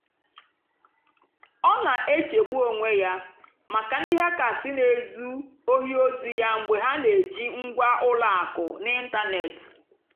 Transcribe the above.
ọ́ nà-èchègbú ónwé yá màkà ndí hàckérs nà-èzú óhì ózì yá mgbe hà nà-èjì ngwá ùlọ àkụ̀ n'ị́ntánètị́.